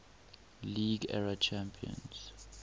league era champions